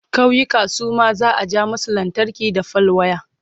ƙauyuka Suma za'a ja musu lantarki da fal waya